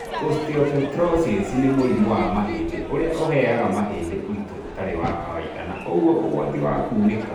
Osteopetrosis nĩ mũrimũ wa mahindi ũrĩa ũheaga mahĩndĩ ũritũ ũtarĩ wa kawaida na ũguo ũgwati wa kunĩka